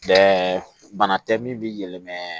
Bɛɛ bana tɛ min b'i yɛlɛmɛn